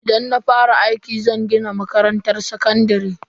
Idan na fara aiki, zan gina makarantar sakandare.